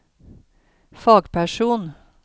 fagperson